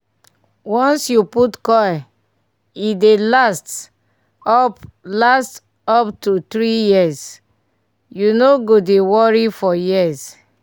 once you put coil e dey last up last up to 3yrs - you no go dey worry for years